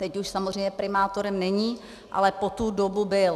Teď už samozřejmě primátorem není, ale po tu dobu byl.